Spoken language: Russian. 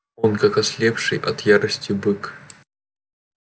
он как ослепший от ярости бык